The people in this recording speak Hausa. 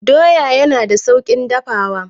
Doya yana da sauƙin dafawa.